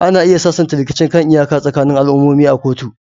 Ana iya sasanta rikicin kan iyaka tsakanin al'ummomi a kotu.